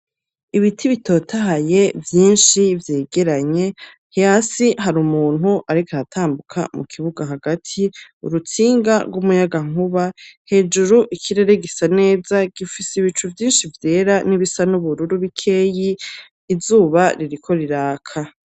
Ibiti bitotahaye, vyinshi, vyegeranye, hasi hari umuntu ariko aratambuka mu kibuga hagati, urutsinga rw'umuyagankuba, hejuru ikirere gisa neza gifise ibicu vyinshi vyera n'ibisa n'ubururu bikeyi, izuba ririko riraka.